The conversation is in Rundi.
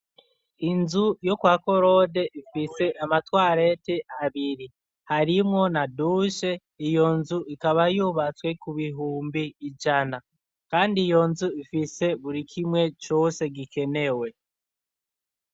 Inzu yo kwakorode ifise amatwareti abiri harimwo na dushe iyo nzu ikaba yubatswe ku bihumbi ijana kandi iyo nzu ifise buri kimwe cose gikenewe.